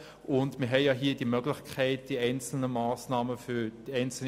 Wir haben denn auch die Möglichkeit, Massnahmen für einzelne,